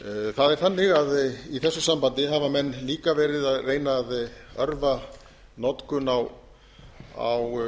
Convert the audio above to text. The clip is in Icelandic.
það er þannig að í þessu sambandi hafa menn líka verið að reyna að örva notkun á